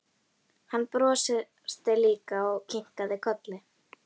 Hann brosti líka og kinkaði kolli.